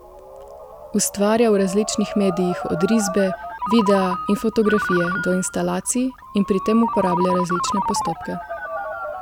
Ustvarja v različnih medijih od risbe, videa in fotografije do instalacij in pri tem uporablja različne postopke.